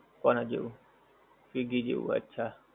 કોણા જેવુ swiggy જેવુ અચ્છા